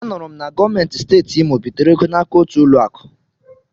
A nụrụ m na gọọmenti Steeti Imo bitere ego n'aka otu ụlọ akụ.